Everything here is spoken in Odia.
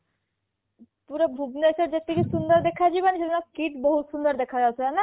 ପୁରା ଭୁବନେଶ୍ବର ଯେତିକି ସୁନ୍ଦର ଦେଖାଯିବନି ସେଦିନ KIIT ବହୁତ ସୁନ୍ଦର ଦେଖାଯାଉଥିଲା